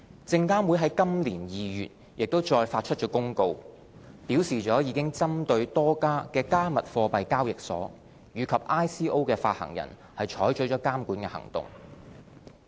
證監會在今年2月亦再發出公告，表示已針對多家"加密貨幣"交易所及 ICO 發行人採取了監管行動。